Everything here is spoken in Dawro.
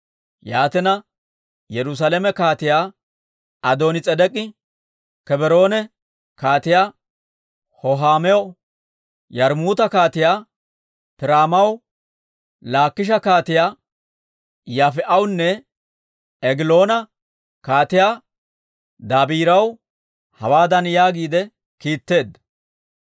Yaatina, Yerusaalame Kaatiyaa Adoonis'edek'i, Kebroone Kaatiyaa Hohaamaw, Yarmmuuta Kaatiyaa Piiraamaw, Laakisha Kaatiyaa Yaafi'awunne, Egiloona kaatiyaa Dabiiraw hawaadan yaagiide kiitteedda;